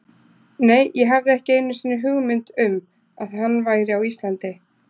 Nei, ég hafði ekki einu sinni hugmynd um að hann væri á Íslandi.